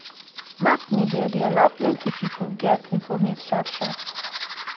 mass media dey allow plenty pipo get informate sharp sharp.